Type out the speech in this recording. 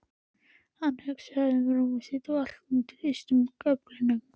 Hann var að hugsa um rúmið sitt undir austurgaflinum.